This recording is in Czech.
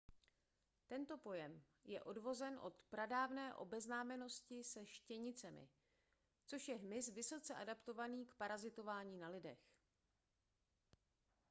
tento pojem je odvozen od pradávné obeznámenosti se štěnicemi což je hmyz vysoce adaptovaný k parazitování na lidech